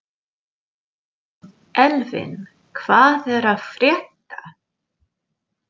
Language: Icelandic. Elvin, hvað er að frétta?